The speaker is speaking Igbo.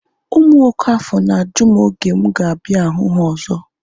Ụmụ okafor na-ajụ m oge mụ ga-abịa hụ ha ọzọ